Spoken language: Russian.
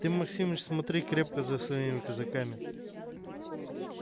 ты максимыч смотри крепко за своими казаками